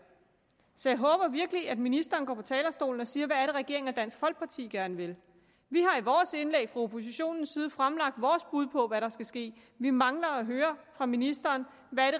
så jeg håber virkelig at ministeren går på talerstolen og siger hvad det er regeringen og dansk folkeparti gerne vil vi har i vores indlæg fra oppositionens side fremlagt vores bud på hvad der skal ske vi mangler at høre fra ministeren hvad